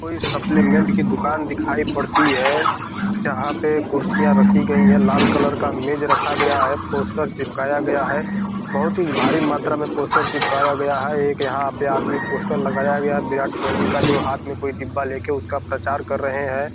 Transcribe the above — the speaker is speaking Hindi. कोई सप्लीमेंट की दुकान दिखाई पड़ती है जहाँ पे कुर्सियाँ रखी गई है लाल कलर का मेज़ रखा गया है पोस्टर चिपकाया गया है बहुत ही भारी मात्रा में पोस्टर चिपकाया गया है एक यहाँ पे आदमी पोस्टर लगाया गया है विराट कोहली का जो हाथ में कोई डिब्बा लेके उसका प्रचार कर रहे है।